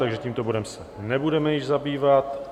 Takže tímto bodem se nebudeme již zabývat.